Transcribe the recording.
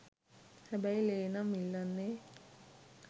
හැබැයි ලේ නම් ඉල්ලන්නේ